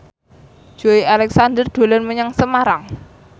Joey Alexander dolan menyang Semarang